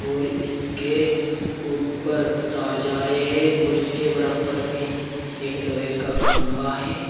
और इसके ऊपर तार जा रहे हैं और इसके बरबर में एक लोहे का खंबा है।